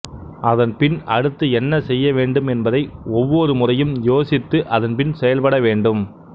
அதன்பின் அடுத்து என்ன செய்ய வேண்டும் என்பதை ஒவ்வொரு முறையும் யோசித்து அதன்பின் செயல்பட வேண்டும்